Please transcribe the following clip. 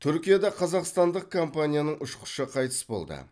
түркияда қазақстандық компанияның ұшқышы қайтыс болды